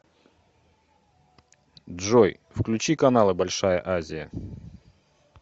джой включи каналы большая азия